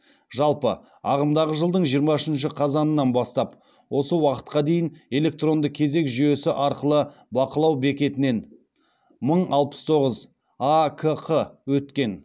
жалпы ағымдағы жылдың жиырма үшінші қазанынан бастап осы уақытқа дейін электронды кезек жүйесі арқылы бақылау бекетінен мың алпыс тоғыз акқ өткен